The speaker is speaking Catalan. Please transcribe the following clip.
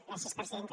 gràcies presidenta